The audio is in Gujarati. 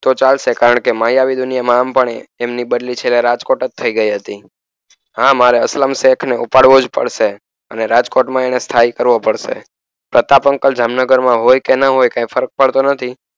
તો ચાલ સે કરણ કે માયાવી ની એમ પણ એમની બદલી છેલ્લે રાજકોટ જ થઈ ગયા હતી હા મારે અસ્લમશેખ ને ઉપાડવો જ પડશે આજે રાજકોટ માં try કરવો પડશે છતાં પણ જામનગર માં હોય કેર ના હોય ફરક પડતો નથી